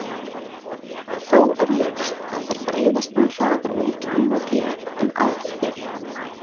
En verstir alls voru morgnarnir og sáralítill munur frá einum degi til annars.